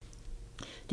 DR2